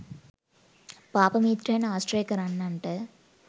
පාප මිත්‍රයන් ආශ්‍රය කරන්නන්ට